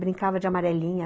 Brincava de amarelinha.